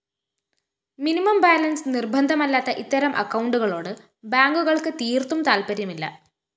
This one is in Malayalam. മിനിമം ബാലൻസ്‌ നിര്‍ബന്ധമല്ലാത്ത ഇത്തരം അക്കൗണ്ടുകളോട് ബാങ്കുകള്‍ക്ക് തീര്‍ത്തും താല്‍പര്യമില്ല